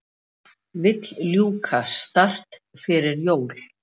Vill ljúka START fyrir jól